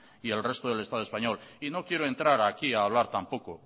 y el resto del estado español y no quiero entrar aquí hablar tampoco